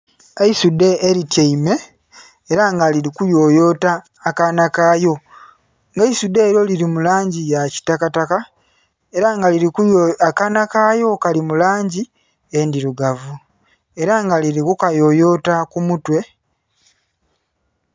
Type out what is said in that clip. Eisudhe elityaime ela nga liri kuyoyota akaana kalyo, nga eisudhe elyo liri mu langi yakitakataka ela nga liri...akaana kalyo kali mu langi endhirugavu era nga liri kukayoyota ku mutwe.